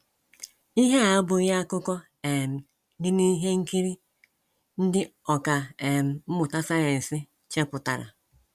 Ihe a abụghị akụkọ um dị n’ihe nkiri ndị ọkà um mmụta sayensị chepụtara.